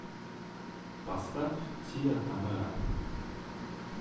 поставь тиа тамэра